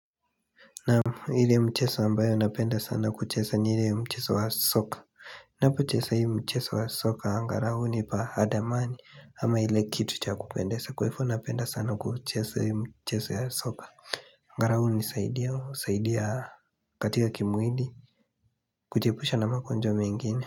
Naam ile mcheso ambayo napenda sana kuchesa ni ile ya mcheso wa soka Napochesa hii mcheso wa soka angarau nipa adamani ama ile kitu cha kupendesa kwa ifo napenda sana kuchesa hii mcheso ya soka Ngarau hunisaidi husaidiya katika kimwili kucheipusha na magonjwa mengine.